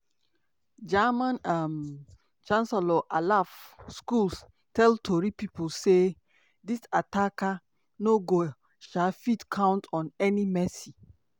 german um chancellor tell tori pipo say: "dis attacker no go um fit count on any mercy.